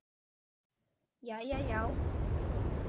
Jæja já?